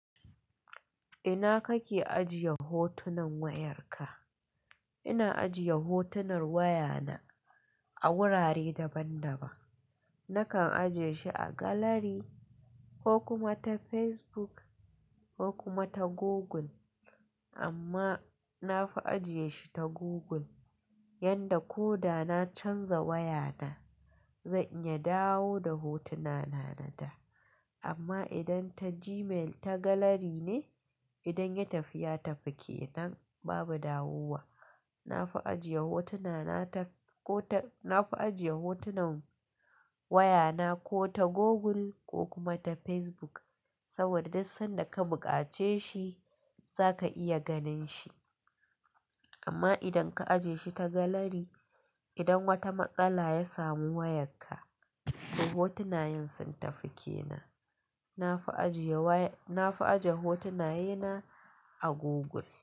Ina kake ajiye hotunan wayarka? Ina ajiye hotunan wayana a wurare daban-daban. Nakan ajiye shi a galari ko kuma ta Facebook ko kuma ta Google, amma na fi ajiye shi ta Google, yanda ko da na canza wayana, zan iya dawo da hotunana na da. Amma idan ta Gmail ta galari ne, idan ya tafi, ya tafi kenan, babu dawowa. Na fi ajiye hotunan wayana ko ta Google ko kuma ta Facebook, saboda duk sanda ka buƙace shi za ka iya ganin shi. Amma idan ka ajiye shi ta galari, idan wata matsala ya samu wayarka, to hotunayen sun tafi ke nan. Na fi ajiye hotunaye na a Google.